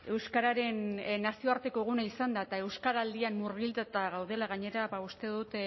euskararen nazioarteko eguna izanda eta euskaraldian murgilduta gaudela gainera ba uste dut